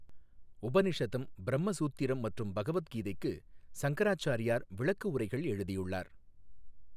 உபநிஷதம் பிரம்ம சூத்திரம் மற்றும் பகவத் கீதைக்கு சங்கராச் சாரியார் விளக்கஉரைகள் எழுதியுள்ளார்.